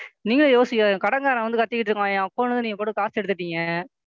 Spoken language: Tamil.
நீங்களே யோசிங்க கடன்காரன் வந்து கத்திகிட்டு இருக்கான் என் Account ல இருந்து நீங்க பாட்டுக்கு காசு எடுத்துட்டீங்க,